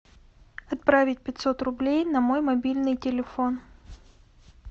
отправить пятьсот рублей на мой мобильный телефон